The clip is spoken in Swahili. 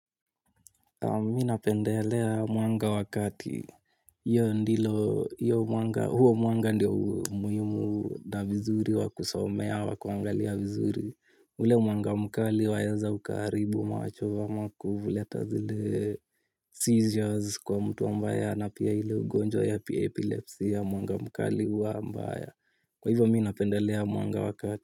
Mimi napendelea mwanga wa kati, huo mwanga ndiyo muhimu na vizuri wa kusomea wa kuangalia vizuri. Ule mwanga mkali waeza ukaharibu, macho ama kuleta zile seizures kwa mtu ambaye ana pia ile ugonjwa ya epilepsy ya mwanga mkali huwa mbaya. Kwa hivyo mimi napendelea mwanga wa kati.